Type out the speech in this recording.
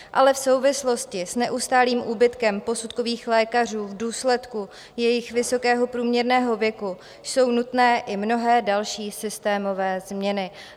Ale v souvislosti s neustálým úbytkem posudkových lékařů v důsledku jejich vysokého průměrného věku jsou nutné i mnohé další systémové změny.